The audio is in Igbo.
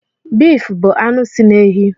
Bif bụ anụ si na ehi.